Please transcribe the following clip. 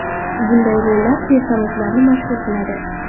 Bunday rollar personajlarni mashhur qiladi.